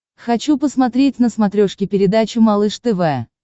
хочу посмотреть на смотрешке передачу малыш тв